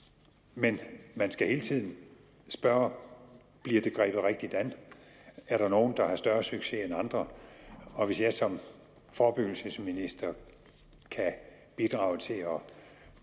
men man skal hele tiden spørge bliver det grebet rigtigt an er der nogle der har større succes end andre og hvis jeg som forebyggelsesminister kan bidrage til at